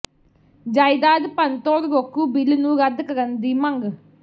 ਜਾਇਦਾਦ ਭੰਨਤੋੜ ਰੋਕੂ ਬਿੱਲ ਨੂੰ ਰੱਦ ਕਰਨ ਦੀ ਮੰਗ